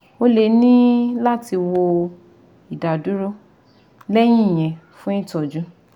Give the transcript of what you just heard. O lè ní láti wọ ìdádúró lẹ́yìn ìyẹn fún ìtọ́jú